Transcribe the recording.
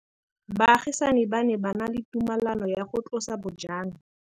Baagisani ba ne ba na le tumalanô ya go tlosa bojang.